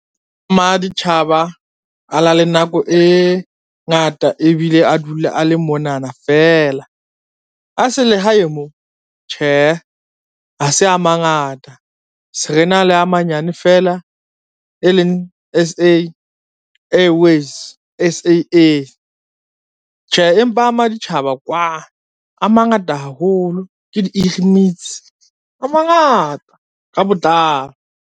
Maditjhaba a na le nako e ngata ebile a dula a le monana feela. A selehae mo, tjhe ha se a mangata se re na le a manyane fela e leng S_A Airways, S_A_A. Tjhe, empa a maditjhaba kwa a mangata haholo ke di a mangata ka botlalo.